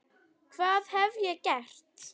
hvað hef ég gert?